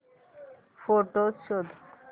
photos शोध